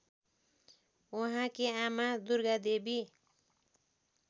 उहाँकी आमा दुर्गादेवी